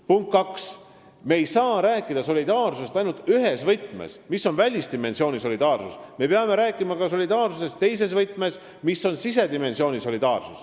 Punkt kaks, me ei saa rääkida solidaarsusest ainult ühes võtmes, mis on välisdimensiooni solidaarsus, me peame rääkima ka solidaarsusest teises võtmes, mis on sisedimensiooni solidaarsus.